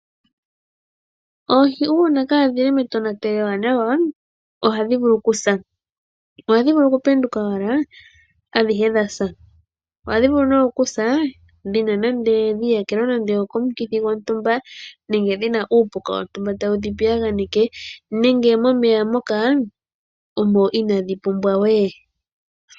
Oohi uuna kaa dhi li metonatelo ewanawa, oha dhi vulu ku sa. Oha dhi vulu oku penduka owala adhihe dha sa. Oha dhi vulu ne ku sa, dhi iyakelwa nande o komukithi gwontumba, nenge dhi na uupuka wontumba tawu dhi piyaganeke, nenge momeya moka omo inaa dhi pumbwa we.